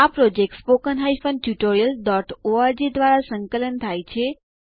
આ project httpspoken tutorialorg દ્વારા સંકલન થાય છે